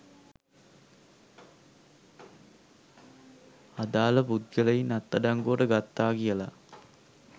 අදාළ පුද්ගලයින් අත්අඩංගුවට ගත්තා කියලා